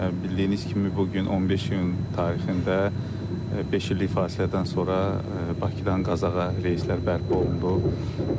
Bildiğiniz kimi bu gün 15 iyun tarixində beş illik fasilədən sonra Bakıdan Qazaxa reyslər bərpa olundu.